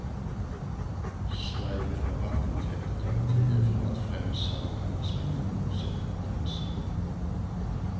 Sverige vill ha vattentäta garantier för att främst salmonellasmittan hålls utanför gränserna.